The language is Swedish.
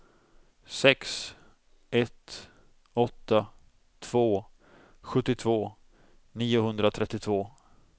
sex ett åtta två sjuttiotvå niohundratrettiotvå